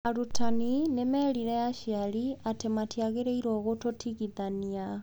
Arutani nĩ meerire aciari atĩ matiagĩrĩirũo gũtũtigithania.